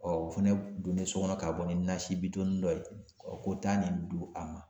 o fɛnɛ donnen so kɔnɔ ka bɔ ni nasi bitɔn dɔ ye ko taa nin di a ma